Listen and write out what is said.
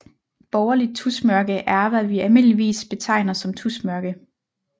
Borgerligt tusmørke er hvad vi almindeligvis betegner som tusmørke